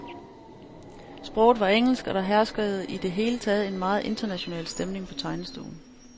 Sproget var engelsk, og der herskede i det hele taget en meget international stemning på tegnestuen.